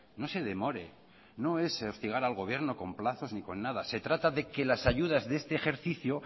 no se demoren no es hostigar al gobierno con plazos ni con nada se trata de que las ayudas de este ejercicio